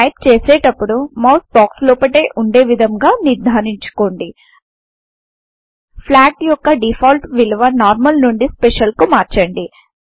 type చేసేటపుడు mouse box లోపటే వుండే విధముగా నిర్దారించుకోండి ఫ్లాగ్ యొక్క డిఫాల్ట్ విలువ నార్మల్ నుండి స్పెషల్ కు మార్చండి